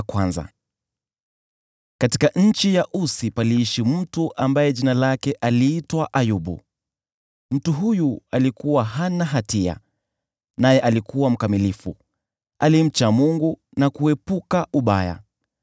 Katika nchi ya Usi paliishi mtu ambaye aliitwa Ayubu. Mtu huyu alikuwa hana hatia, naye alikuwa mkamilifu; alimcha Mungu na kuepukana na uovu.